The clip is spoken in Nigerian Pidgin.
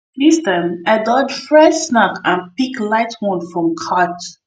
this time i dodge fried snack and pick light one from cart